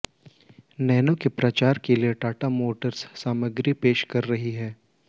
nano के प्रचार के लिए टाटा मोटर्स सामग्री पेश कर रही है